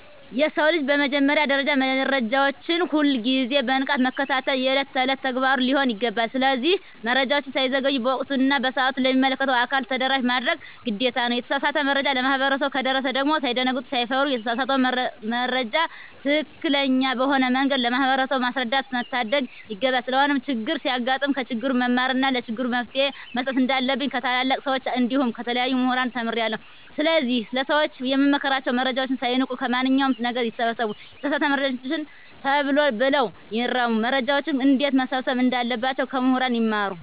የሰው ልጅ በመጀመሪያ ደረጃ መረጃዎችን ሁል ግዜ በንቃት መከታተል የእለት እለት ተግባሩ ሊሆን ይገባል። ስለዚህ መረጃወች ሳይዘገዩ በወቅቱ እና በሰአቱ ለሚመለከተው አካል ተደራሽ ማድረግ ግዴታ ነው። የተሳሳተ መረጃ ለማህበረሰቡ ከደረሰ ደግም ሳይደነግጡ ሳይፈሩ የተሳሳተውን መረጃ ትክክለኛ በሆነ መንገድ ለማህበረሰቡ ማስረዳትና መታደግ ይገባል። ስለሆነም ቸግር ሲያጋጥም ከችግሩ መማርና ለችግሩ መፈትሄ መስጠት እንንዳለብኝ ከታላላቅ ሰወች እንዲሁም ከተለያዩ ሙህራን ተምሬአለሁ። ስለዚህ ለሰወች የምመክራቸው መረጃወችን ሳይንቁ ከማንኛው ነገር ይሰብስቡ የተሳሳተ መረጃወችን ተሎ ብለው ይርሙ። መረጃወችን እንዴትመሰብሰብ እንዳለባቸው ከሙህራን ይማሩ።